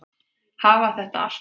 Hafa þetta allt saman?